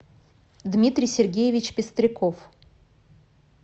дмитрий сергеевич пестряков